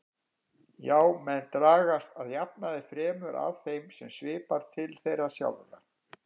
Já, menn dragast að jafnaði fremur að þeim sem svipar til þeirra sjálfra.